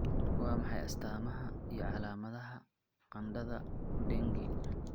Waa maxay astamaha iyo calaamadaha qandhada Dengue?